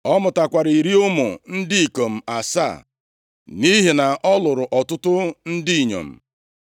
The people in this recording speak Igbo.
Ọ mụtakwara iri ụmụ ndị ikom asaa, nʼihi na ọ lụrụ ọtụtụ ndị inyom.